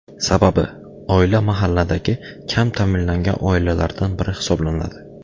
Sababi, oila mahalladagi kam ta’minlangan oilalardan biri hisoblanadi.